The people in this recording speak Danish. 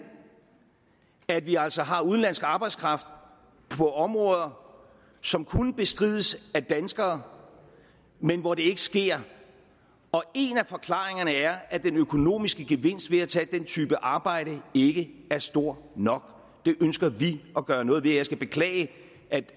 at vi altså har udenlandsk arbejdskraft på områder som kunne bestrides af danskere men hvor det ikke sker og en af forklaringerne er at den økonomiske gevinst ved at tage den type arbejde ikke er stor nok det ønsker vi at gøre noget ved og jeg skal beklage